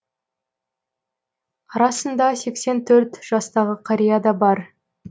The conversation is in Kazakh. арасында сексен төрт жастағы қария да бар